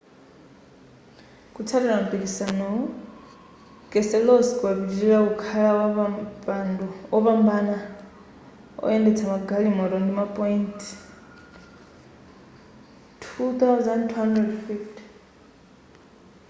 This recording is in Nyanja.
kutsatira mpikisanowu keselowski wapitilira kukhala wopambana woyendetsa magalimoto ndi ma point 2,250